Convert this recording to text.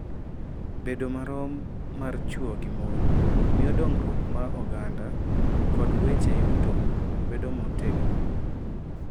Bedo marom mar chwo gi mon miyo dongruok mar oganda kod weche yuto bedo motegno